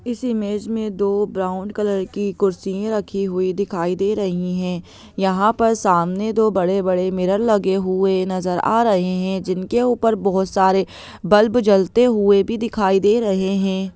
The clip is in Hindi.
इस इमेज में दो ब्राउन कलर की कुर्सियां रखी हुई दिखाई दे रही है यहां पर सामने दो बड़े-बड़े मिरर लगे हुए नजर आ रहे है जिनके ऊपर बहुत सारे बल्ब जलते हुए भी दिखाई दे रहे है।